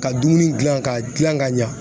Ka dumuni gilan ka gilan ka ɲa